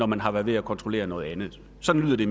man har været ved at kontrollere noget andet sådan lyder det